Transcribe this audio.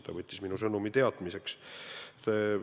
Ta võttis minu sõnumi teadmiseks.